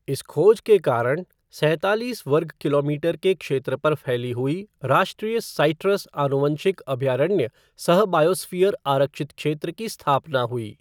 इस खोज के कारण सैंतालीस वर्ग किलोमीटर के क्षेत्र पर फैली हुई राष्ट्रीय साइट्रस आनुवंशिक अभयारण्य सह बायोस्फ़ियर आरक्षित क्षेत्र की स्थापना हुई।